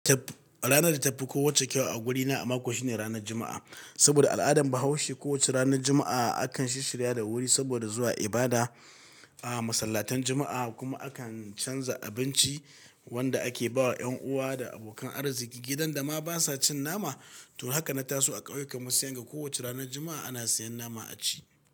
Ranar da ta fi ko wacce kyau a wurina a mako shine ranar Juma'a. Saboda al'adar Bahaushe kowace ranar Juma'a akan shishshirya da wuri saboda zuwa ibada a masallatan Juma'a kuma akan canza abinci wanda ake bawa 'yan uwa da abokan arziki. Gidan da ma basa cin nama, to haka na taso a ƙauyen mu sai yadda kowacce ranar Juma'a ana siyan nama a ci.